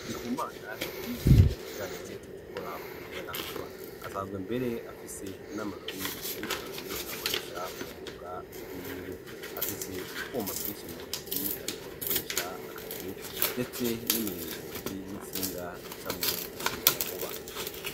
Ndikumana yize ibijanye no gukora umuyagankuba asanzwe mbere afise n'amarori yabigenewe akoresha uwo mwuga wiwe. Afise utwuma twinshi mu ntoke ariko agakoresha akazi ndetse n'imiringoti n'intsinga ducamwo uwo muyagankuba.